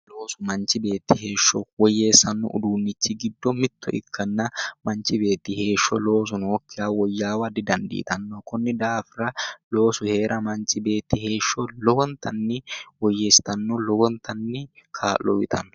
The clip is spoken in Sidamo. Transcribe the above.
Loosu manichi beeti heesho woyyeesanno uduunni richi giddo mitto ikkana manichi beeti heesho loosu nookkiha woyyaawa didanidiitanno konni daafira loosu heera manichi beeti heesho lowonitanni woyeesitanno lowonitanni kaa'lo uyitanno